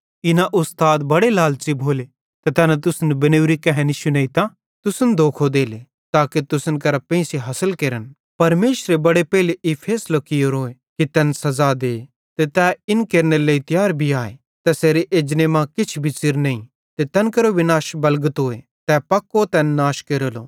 इना उस्ताद बड़े लालच़ी भोले ते तैना तुसन बनेवरी कहैनी शुनेइतां तुसन धोखो देले ताके तुसन करां पेइंसो हासिल केरन परमेशरे बड़े पेइले ई फैसलो कियोरो कि तैन सज़ा दे ते तै इन केरनेरे लेइ तियार भी आए तैसेरे एजने मां किछ भी च़िर नईं ते तैन केरो विनाश बलगतोए तै पक्को तैन नाश केरेलो